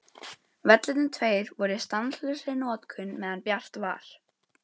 Vellirnir tveir voru í stanslausri notkun meðan bjart var.